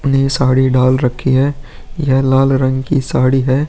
उन्हे ये साड़ी डाल रखी है यह लाल रंग की साड़ी है।